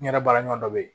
N yɛrɛ baara ɲɔgɔn dɔ bɛ ye